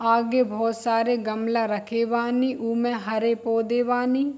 आगे बोहोत सारे गमला रखे बानी उमे हरे पौधे बानी।